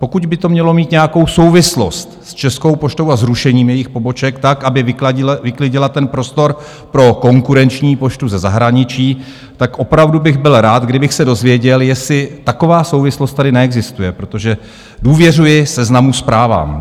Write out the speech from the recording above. Pokud by to mělo mít nějakou souvislost s Českou poštou a zrušením jejich poboček tak, aby vyklidila ten prostor pro konkurenční poštu ze zahraničí, tak opravdu bych byl rád, kdybych se dozvěděl, jestli taková souvislost tady neexistuje, protože důvěřuji Seznamu Zprávám.